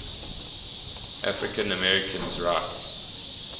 african americans rights